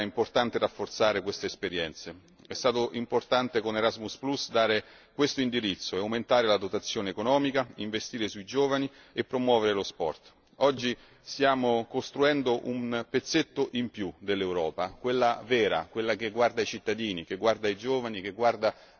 È stato importante con Erasmus dare questo indirizzo e aumentare la dotazione economica, investire sui giovani e promuovere lo sport. Oggi stiamo costruendo un pezzetto in più dell'Europa, quella vera, quella che guarda ai cittadini, ai giovani, agli studenti e non alla burocrazia.